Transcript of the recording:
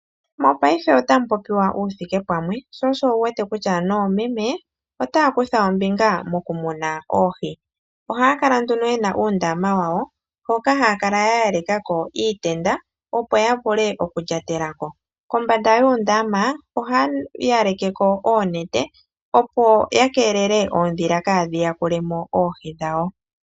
Mopaife otamu popiwa uuthikepamwe, sho osho wu wete kutya noomeme otaya kutha ombinga mokumuna oohi. Ohaya kala nduno ye na uundama wawo hoka haya kala ya yaleka ko iitenda, opo ya vule okulyatela ko. Kombanda yuundama ohaya siikile ko oonete, opo ya keelele oondhila kaadhi yakule mo oohi dhawo.